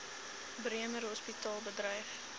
bremer hospitaal bedryf